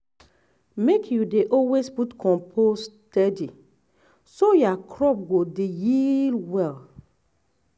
make you dey always put compost steady so your crop go dey yield well.